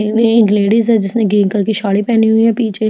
इसमें एक लेडीज है जिसने ग्रीन कलर की साड़ी पहनी हुई है पीछे --